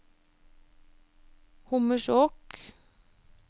Hommersåk